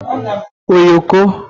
oyoko